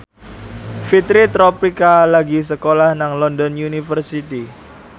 Fitri Tropika lagi sekolah nang London University